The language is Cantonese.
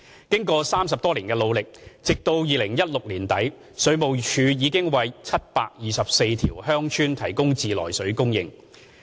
經過30多年的努力，直到2016年年底，水務署已為724條鄉村提供自來水供應。